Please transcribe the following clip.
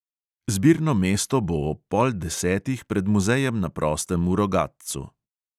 Zbirno mesto bo ob pol desetih pred muzejem na prostem v rogatcu.